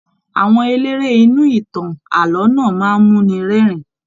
Àwọn eléré inú ìtàn ààlọ́ náà máa n muni rẹ́rìn.